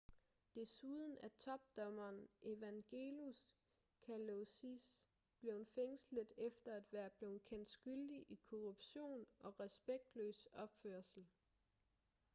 desuden er topdommeren evangelos kalousis blevet fængslet efter at være blevet kendt skyldig i korruption og respektløs opførsel